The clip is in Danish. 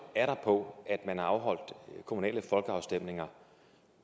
er der på at man har afholdt kommunale folkeafstemninger